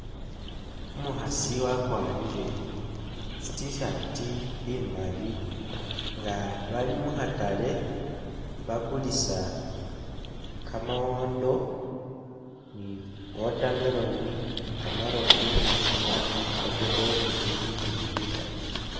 Umukhasi wakwarile tsi T-shirt imali nga bali mukhatale bakulisa kamawondo ni watermelon ni kamarofu ni tsinyanye ni fokedo ni bindubindi bikali